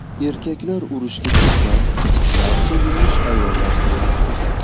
Erkaklar urushga ketgan, barcha yumush ayollar zimmasida.